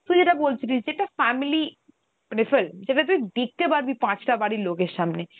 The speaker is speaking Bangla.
তুই যেটা বলছিলিস যেটা family মানে flim. যেটা তুই দেখতে পারবি পাঁচ টা বাড়ির লোকের সামনে.